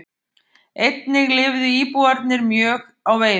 Einnig lifðu íbúarnir mjög á veiðum.